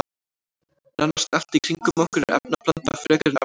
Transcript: Nánast allt í kringum okkur er efnablanda frekar en efnasamband.